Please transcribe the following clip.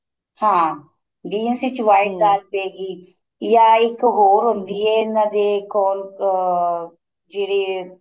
ਹਾਂ beans ਵਿੱਚ white ਪਏਗੀ ਜਾਂ ਇੱਕ ਹੋਰ ਹੁੰਦੀ ਏ ਇਹਨਾ ਦੇ ਕੋਲ ਅਹ ਜਿਹੜੇ